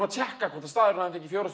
að tékka hvort staðurinn hafi fengið fjóra